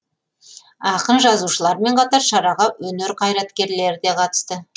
ақын жазушылармен қатар шараға өнер қайраткерлері де қатысты